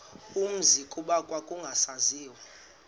umzi kuba kwakungasaziwa